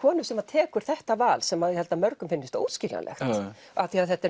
konu sem tekur þetta val sem ég held að mörgum finnist óskiljanlegt af því að þetta er